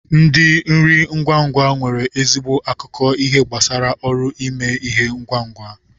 Ndi nri ngwa ngwa nwere ezigbo akụkọ ihe gbasara ọrụ ime ihe ngwa ngwa.